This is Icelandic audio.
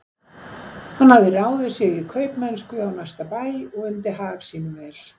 Hann hafði ráðið sig í kaupamennsku á næsta bæ og undi hag sínum vel.